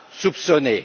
pas soupçonnée.